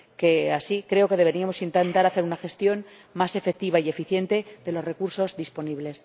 Y, así, creo que deberíamos intentar hacer una gestión más efectiva y eficiente de los recursos disponibles.